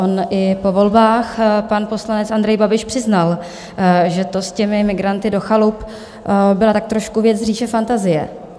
On i po volbách pan poslanec Andrej Babiš přiznal, že to s těmi migranty do chalup byla tak trošku věc z říše fantazie.